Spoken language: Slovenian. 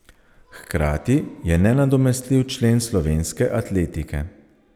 Hkrati je nenadomestljiv člen slovenske atletike.